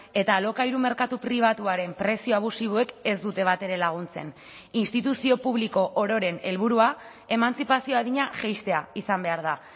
eta alokairu merkatu pribatuaren prezio abusiboek ez dute batere laguntzen instituzio publiko ororen helburua emantzipazio adina jaistea izan behar da